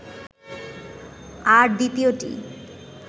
আর দ্বিতীয়টি